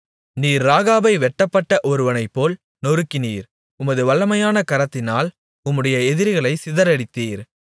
நீர் ராகாபை வெட்டப்பட்ட ஒருவனைப்போல் நொறுக்கினீர் உமது வல்லமையான கரத்தினால் உம்முடைய எதிரிகளைச் சிதறடித்தீர்